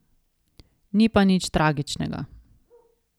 Ni pa nič tragičnega.